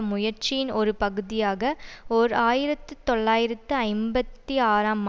முயற்சியின் ஒரு பகுதியாக ஓர் ஆயிரத்தி தொள்ளாயிரத்து ஐம்பத்தி ஆறாம்